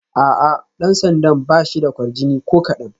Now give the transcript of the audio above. A'a, dan sandan ba shi da kwarjini ko kadan